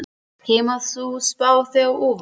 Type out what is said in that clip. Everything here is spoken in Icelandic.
Kemur sú spá þér á óvart?